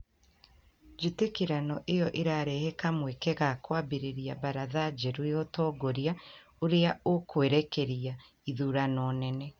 njĩtĩkanĩrio iyo irarehe kamweke ka kwambĩrĩria baratha njerũ ya ũtongoria ũrĩa ũkwerekeria ithurano nene